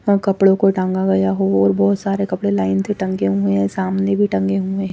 कपड़ों को टांगा गया हो और बहुत सारे कपड़े लाइन से टंगे हुए हैं सामने भी टंगे हुए हैं।